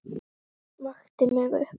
Vakti mig upp.